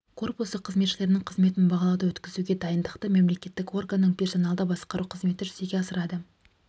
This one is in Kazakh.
корпусы қызметшілерінің қызметін бағалауды өткізуге дайындықты мемлекеттік органның персоналды басқару қызметі жүзеге асырады